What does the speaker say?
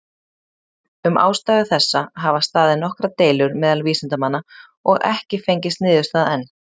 Um ástæðu þessa hafa staðið nokkrar deilur meðal vísindamanna, og ekki fengist niðurstaða enn.